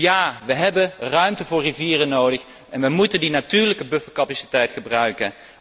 Dus ja, we hebben ruimte voor rivieren nodig en we moeten de natuurlijke buffercapaciteit gebruiken.